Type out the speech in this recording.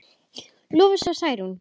Lovísa og Særún.